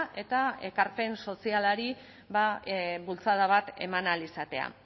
eta ekarpen sozialari bultzada bat eman ahal izatea